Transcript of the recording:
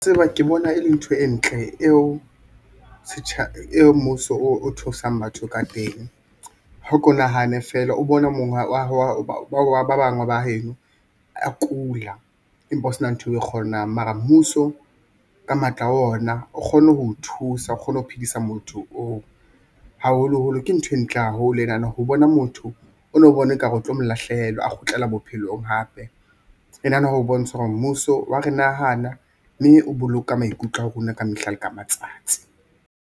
Tseba ke bona e le ntho e ntle eo mmuso o thusang batho ka teng. Hao ko nahane feela o bona monga wa ba bang ba heno a kula empa o sna ntho o e kgonang mara mmuso ka matla ona o kgone ho o thusa, o kgone ho phedisa motho oo, haholoholo ke ntho e ntle haholo e nana ho bona motho o no bona ekare o tlo mo lahlehelwa a kgutlela bophelong hape e nana ho bontsha hore mmuso wa re nahana mme o boloka maikutlo a rona ka mehla le ka matsatsi.